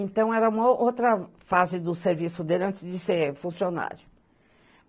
Então, era uma o outra fase do serviço dele antes de ser funcionário.